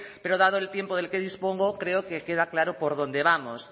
pero dado el tiempo del que dispongo creo que queda claro por dónde vamos